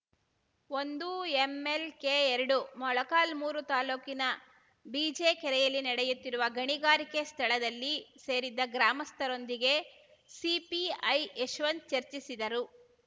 ಒಂದು ಎಂಎಲ್‌ಕೆಎರಡು ಮೊಳಕಾಲ್ಮುರು ತಾಲೂಕಿನ ಬಿಜೆಕೆರೆಯಲ್ಲಿ ನಡೆಯುತ್ತಿರುವ ಗಣಿಗಾರಿಕೆ ಸ್ಥಳದಲ್ಲಿ ಸೇರಿದ್ದ ಗ್ರಾಮಸ್ಥರೊಂದಿಗೆ ಸಿಪಿಐ ಯಶವಂತ್‌ ಚರ್ಚಿಸಿದರು